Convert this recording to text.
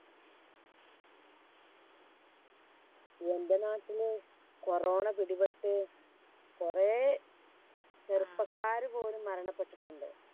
എൻറെ നാട്ടില് കൊറോണ പിടിപെട്ട് കൊറേ ചെറുപ്പക്കാര് പോലും മരണപ്പെട്ടിട്ടുണ്ട്